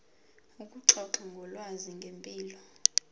ukuxoxa ngolwazi ngempilo